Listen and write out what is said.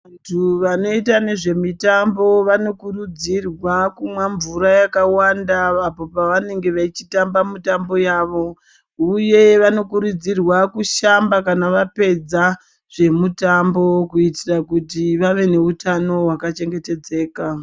Vantu vanoita nezve mutambo vano kurudzirwa kumwa mvura yakawanda apo pavanenge vachitamba mitambo yavo uye vano kurudzirwa kushamba kana vapedza zvemitambo kuitira kuti vave nehutano hwaka chengetedzeka.